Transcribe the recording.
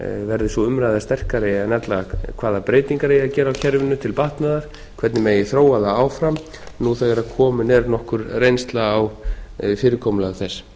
verði sú umræða sterkari en ella hvaða breytingar eigi að gera á kerfinu til batnaðar hvernig megi þróa það áfram nú þegar komin er nokkur reynsla á fyrirkomulag þess